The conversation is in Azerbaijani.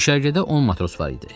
Düşərgədə on matros var idi.